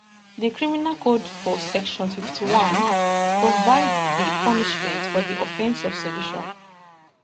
di criminal code for section 51 provide di punishment for di offence of sedition